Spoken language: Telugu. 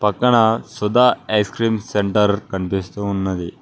పక్కన సుధా ఐస్ క్రీమ్ సెంటర్ కనిపిస్తూ ఉన్నది.